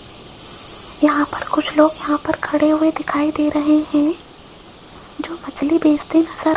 यहां पर कुछ लोग यहां पर खड़े हुए दिखाई दे रहे हैं जो मछली बेचते नजर --